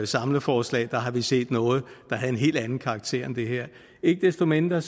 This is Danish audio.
samleforslag har vi set noget der havde en helt anden karakter end det her ikke desto mindre